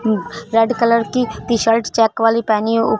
red colour की T shirt check वाली पहनी--